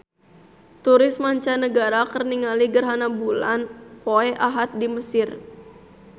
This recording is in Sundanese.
Turis mancanagara keur ningali gerhana bulan poe Ahad di Mesir